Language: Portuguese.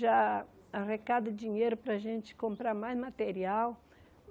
Já arrecada dinheiro para a gente comprar mais material.